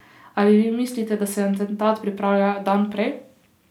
Ali vi mislite, da se atentat pripravlja dan prej?